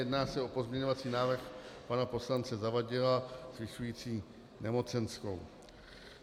Jedná se o pozměňovací návrh pana poslance Zavadila zvyšující nemocenskou.